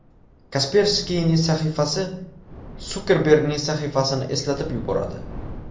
Kasperskiyning sahifasi Sukerbergning sahifasini eslatib yuboradi.